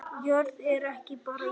Jörð er ekki bara jörð